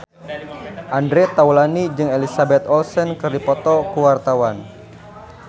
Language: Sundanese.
Andre Taulany jeung Elizabeth Olsen keur dipoto ku wartawan